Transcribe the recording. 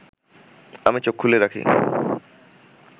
আমি চোখ খুলে রাখি